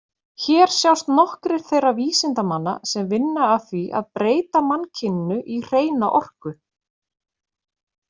Hér sjást nokkrir þeirra vísindamanna sem vinna að því að breyta mannkyninu í hreina orku.